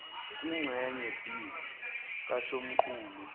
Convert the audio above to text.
kwingxenye b kasomqulu